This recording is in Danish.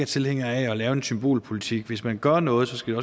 tilhænger af at lave symbolpolitik hvis man gør noget skal